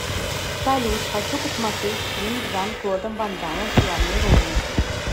салют хочу посмотреть фильм с жан клодом вандамом в главной роли